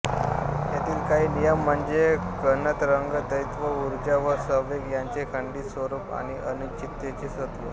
यातील काही नियम म्हणजे कणतरंग द्वैत्व ऊर्जा व संवेग यांचे खंडीत स्वरूप आणि अनिश्चिततेचे तत्व